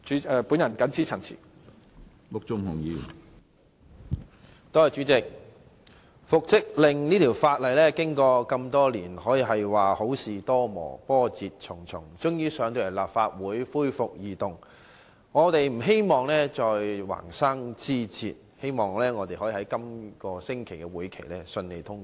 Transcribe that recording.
主席，關乎復職令的《2017年僱傭條例草案》經歷多年，可說是好事多磨，波折重重，終於提交立法會恢復二讀，我們不希望再橫生枝節，希望《條例草案》在本星期的立法會會議上順利通過。